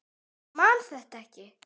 Ég man þetta ekki.